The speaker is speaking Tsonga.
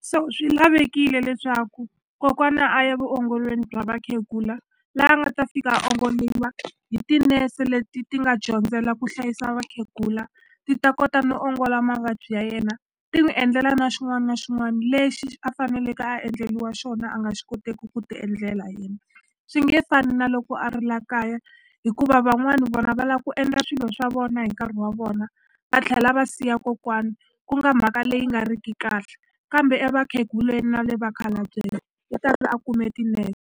so swi lavekile leswaku kokwana a ya vuongolweni bya vakhegula la a nga ta fika a ongoliwa hi tinese leti ti nga dyondzela ku hlayisa vakhegula ti ta kota no ongola mavabyi ya yena ti n'wi endlela na xin'wana na xin'wana lexi a faneleke a endleliwa xona a nga xi koteki ku ti endlela yena swi nge fani na loko a ri la kaya hikuva van'wani vona va la ku endla swilo swa vona hi nkarhi wa vona va tlhela va siya kokwana ku nga mhaka leyi nga riki kahle kambe e vakheguleni na vakhalabyeni u ta ve a kume tinese.